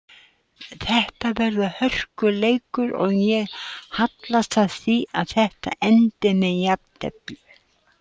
Þetta verður hörkuleikur og ég hallast að því að þetta endi með jafntefli.